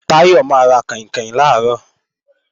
Táyọ̀ máa ra kàìnkàìn làárọ̀